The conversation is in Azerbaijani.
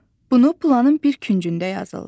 Bunu planın bir küncündə yazırlar.